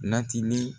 Natili